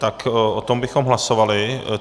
Tak o tom bychom hlasovali.